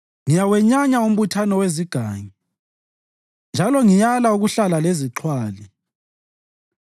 ngiyawenyanya umbuthano wezigangi; njalo ngiyala ukuhlala lezixhwali.